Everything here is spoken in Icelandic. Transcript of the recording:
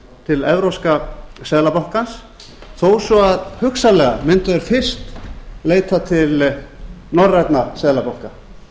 til evrópska seðlabankans þó svo að hugsanlega mundu þeir fyrst leita til norrænna seðlabanka